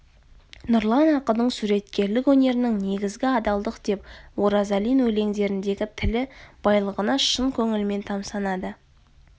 нұрлан ақынның суреткерлік өнерінің негізгі адалдық деп оразалин өлеңдеріндегі тіл байлығына шын көңілімен тамсанады